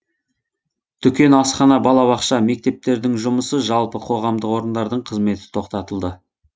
дүкен асхана балабақша мектептердің жұмысы жалпы қоғамдық орындардың қызметі тоқтатылды